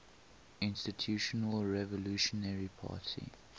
institutional revolutionary party